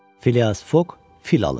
Filias Foq fil alır.